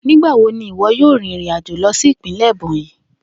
Nigbawo ni iwọ yoo rin irin ajo lọ si ipinlẹ Ebonyi?